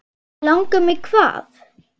Langar mig hvað?